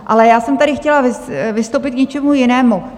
Ale já jsem tady chtěla vystoupit k něčemu jinému.